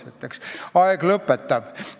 Aeg sunnib mind praegu lõpetama.